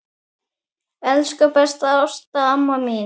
Elsku besta Ásta amma mín.